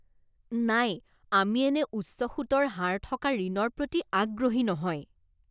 নাই! আমি এনে উচ্চ সুতৰ হাৰ থকা ঋণৰ প্ৰতি আগ্ৰহী নহয়।